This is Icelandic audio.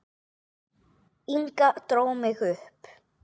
Inga dró mig upp.